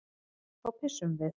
Þá pissum við.